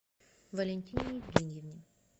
валентине евгеньевне